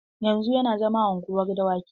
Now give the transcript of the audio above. Yanzu yana zama a unguwar dawaki.